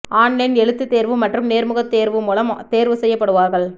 online எழுத்துத் தேர்வு மற்றும் நேர்முகத் தேர்வு மூலம் தேர்வு செய்யப்படுவார்கள்